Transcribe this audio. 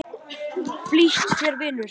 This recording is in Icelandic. Flýt þér, vinur!